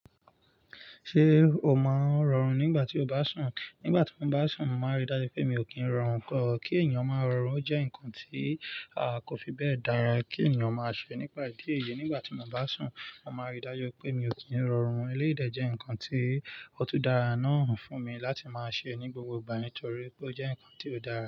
Ṣé o máa ń rọrùn nígbà tí o bá sùn? Nígbà tí mo bá sùn, mo màn rí dájú pé mi ò kí ń rọrùn kọ. Kí ènìyàn máa rọrùn jẹ́ nǹkan tí a kò fi bẹ́ẹ̀ dára kí ènìyàn máa ṣe nípa ìdí èyí, nígbà tí mo bá sùn, màá rí dájú pé mi ò kí ń rọrùn. Eléyi dè jẹ́ nǹkan tí ó tú dara náà fún mi láti máa ṣe ní gbogbo ìgbà nítorí pé ó jẹ́ nǹkan tí ó dára.